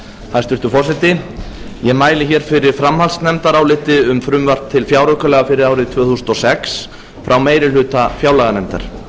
hæstvirtur forseti ég mæli fyrir framhaldsnefndaráliti um frumvarp til fjáraukalaga fyrir árið tvö þúsund og sex frá meiri hluta fjárlaganefndar